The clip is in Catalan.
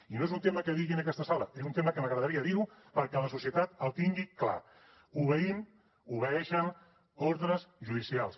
i no és un tema que digui en aquesta sala és un tema que m’agradaria dir ho perquè la societat el tingui clar obeïm obeeixen ordres judicials